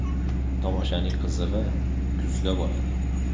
Tomoshaning qizig‘i kuzda bo‘ladi.